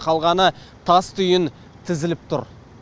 қалғаны тастүйін тізіліп тұр